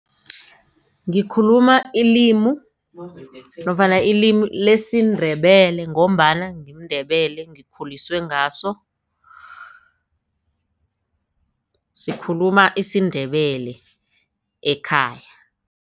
Ngikhuluma ilimu nofana ilimi lesiNdebele ngombana ngimNdebele ngikhuliswe ngaso sikhuluma isiNdebele ekhaya.